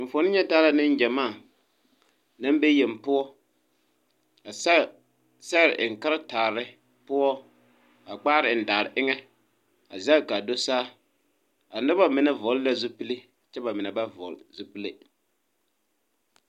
Enfuone nyɛ taa la neŋgyamaa naŋ be yeng poɔ a sɛge sɛgrebwŋ karetaare poɔ a kpaare eŋ daare eŋɛ a zege kaa do saa a nobɔ mine vɔgle la zupile kyɛ ba mine ba vɔgle zupile.